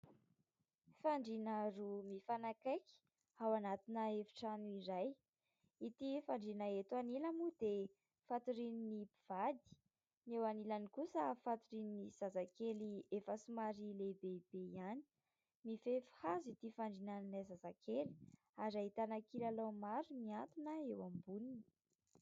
Fandrina roa mifanakaiky ao anatina efi-trano iray. Itỳ fandrina eto anilany moa dia fatorian'ny mpivady, ny eo anilany kosa fatorian'ny zazakely efa somary lehibehibe ihany. Mifefy hazo itỳ fandrian'ilay zazakely ary ahitana kilalao maro miantona eo amboniny.